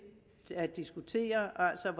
at diskutere altså